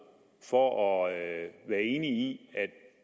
for at være enig